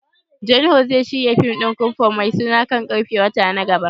John woo zai shirya fim din kunfu mai suna kan karfe wata na gaba.